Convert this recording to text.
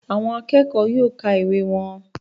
Àwọn akẹ́kọ̀ọ́ yóò ka ìwé wọn